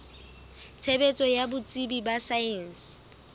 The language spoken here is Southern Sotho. tshebetso ya botsebi ba saense